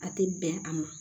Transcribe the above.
A tɛ bɛn a ma